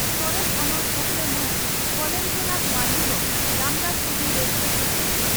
ᱥᱚᱨᱮᱥ ᱚᱱᱚᱞ ᱛᱷᱚᱠᱨᱮ ᱢᱟᱱ ᱠᱚᱞᱮᱱᱫᱽᱨᱚᱱᱟᱛᱷ ᱢᱟᱱᱰᱤ ᱫᱚ ᱨᱟᱢᱫᱟᱥ ᱴᱩᱰᱩ 'ᱨᱮᱥᱠᱟ' ᱥᱤᱨᱯᱷᱟᱹ